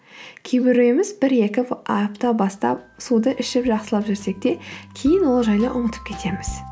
кейбіреуіміз бір екі апта бастап суды ішіп жақсылап жүрсек те кейін ол жайлы ұмытып кетеміз